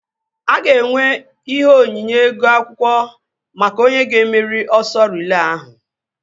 A ga-enwe ihe onyinye ego akwụkwọ maka onye ga-emeri ọsọ riile ahụ